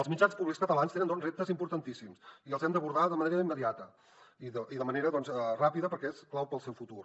els mitjans públics catalans tenen doncs reptes importantíssims i els hem d’abordar de manera immediata i de manera ràpida perquè és clau per al seu futur